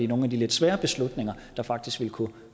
nogle af de lidt sværere beslutninger der faktisk ville kunne